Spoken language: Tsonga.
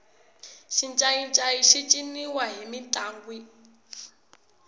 xincayincayi xi ciniwa mintlangwini